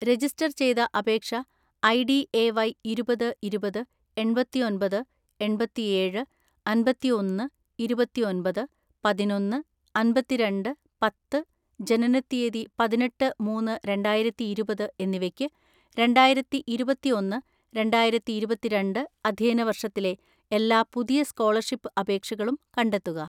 "Register ചെയ്‌ത അപേക്ഷ ID A Y ഇരുപത്‌ ഇരുപത്‌ എണ്‍പത്തിഒന്‍പത് എണ്‍പത്തിഏഴ് അമ്പത്തിഒന്ന് ഇരുപത്തിഒന്‍പത് പതിനൊന്ന്‌ അമ്പത്തിരണ്ട് പത്ത്, ജനനത്തീയതി പതിനെട്ട് മൂന്ന്‌ രണ്ടായിരത്തിഇരുപത് എന്നിവയ്‌ക്ക്, രണ്ടായിരത്തിഇരുപത്തിഒന്ന് രണ്ടായിരത്തിഇരുപത്തിരണ്ട്‍ അധ്യയന വർഷത്തിലെ എല്ലാ പുതിയ സ്‌കോളർഷിപ്പ് അപേക്ഷകളും കണ്ടെത്തുക."